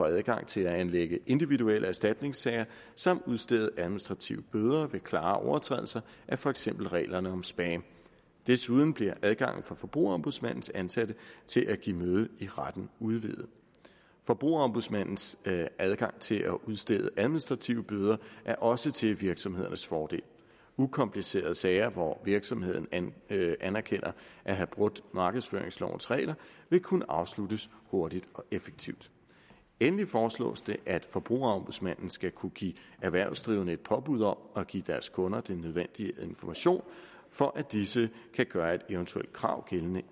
adgang til at anlægge individuelle erstatningssager samt udstede administrative bøder ved klare overtrædelser af for eksempel reglerne om spam desuden bliver adgangen for forbrugerombudsmandens ansatte til at give møde i retten udvidet forbrugerombudsmandens adgang til at udstede administrative bøder er også til virksomhedernes fordel ukomplicerede sager hvor virksomheden erkender at have brudt markedsføringslovens regler vil kunne afsluttes hurtigt og effektivt endelig foreslås det at forbrugerombudsmanden skal kunne give erhvervsdrivende et påbud om at give deres kunder den nødvendige information for at disse kan gøre et eventuelt krav gældende